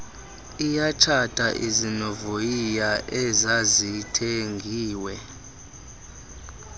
iyatshata izinovoyiya ezazithengiwe